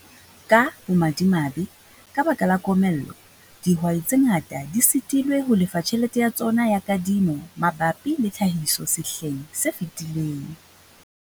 Ka bomadimabe, ka baka la komello, dihwai tse ngata di sitilwe ho lefa tjhelete ya tsona ya kadimo mabapi le tlhahiso sehleng se fetileng.